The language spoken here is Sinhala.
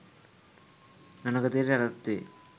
නොනගතයට යටත් වේ